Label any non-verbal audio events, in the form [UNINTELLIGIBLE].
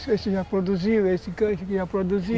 Então, esse já [UNINTELLIGIBLE] produziu, esse [UNINTELLIGIBLE] já produziu.